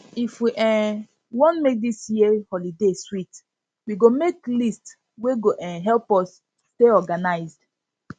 if we um wan make dis year holiday sweet we go make list wey go um help um us stay organized